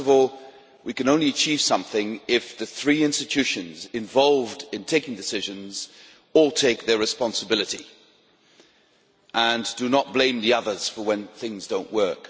First of all, we can only achieve something if the three institutions involved in taking decisions all take their responsibility and do not blame the others when things do not work.